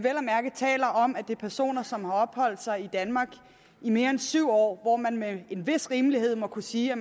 at mærke er tale om at det er personer som har opholdt sig i danmark i mere end syv år og hvor man med en vis rimelighed må kunne sige at